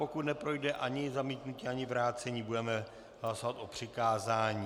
Pokud neprojde ani zamítnutí ani vrácení, budeme hlasovat o přikázání.